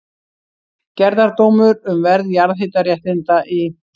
Gerðardómur um verð jarðhitaréttinda í